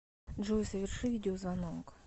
джой соверши видеозвонок